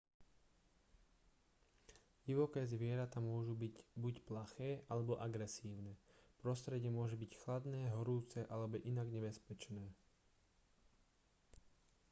divoké zvieratá môžu byť buď plaché alebo agresívne prostredie môže byť chladné horúce alebo inak nebezpečné